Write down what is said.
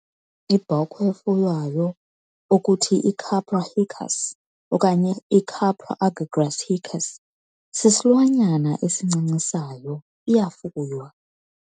Ibhokhwe efuywayo okuthi "iCapra hircus" okanye "iCapra aegagrus hircus", sisilwanyana esincancisayo iyafuywa.